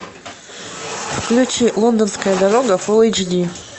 включи лондонская дорога фулл эйч ди